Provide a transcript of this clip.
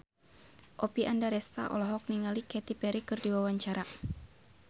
Oppie Andaresta olohok ningali Katy Perry keur diwawancara